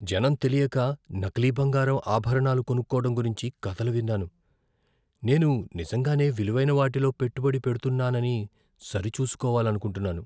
జనం తెలియక నకిలీ బంగారు ఆభరణాలు కొనుక్కోవడం గురించి కథలు విన్నాను, నేను నిజంగానే విలువైన వాటిలో పెట్టుబడి పెడుతున్నానని సరిచూసుకోవాలనుకుంటున్నాను.